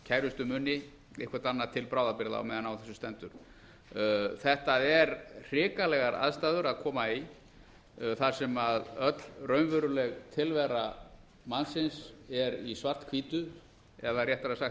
kærustu muni eitthvað annað til bráðabirgða meðan á þessu stendur þetta eru hrikalegar aðstæður að koma í þar sem öll raunveruleg tilvera mannsins er í svart hvítu eða réttara sagt